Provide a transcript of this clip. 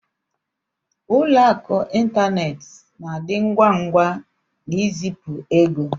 Ụlọ akụ ịntanetị na-adị ngwa ngwa n'izipu ego.